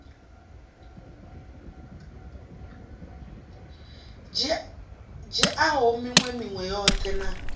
dzhiaho minwe minwe yoṱhe na